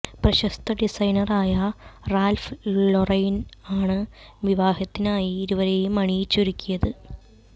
പ്രശസ്ത ഡിസൈനറായ Ralph Lauren ആണ് വിവാഹത്തിനായി ഇരുവരെയും അണിയിച്ചൊരുക്കിയത്